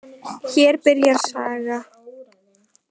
Hér byrjar saga.